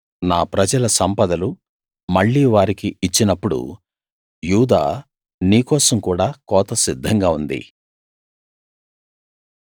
నా ప్రజల సంపదలు మళ్ళీ వారికి ఇచ్చినప్పుడు యూదా నీ కోసం కూడా కోత సిద్ధంగా ఉంది